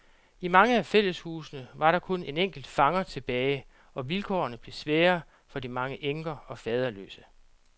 I mange af fælleshusene var der kun en enkelt fanger tilbage, og vilkårene blev svære for de mange enker og faderløse.